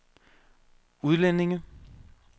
udlændinge